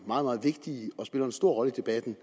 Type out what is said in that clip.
meget meget vigtige og spiller en stor rolle i debatten